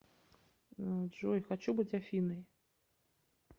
джой хочу быть афиной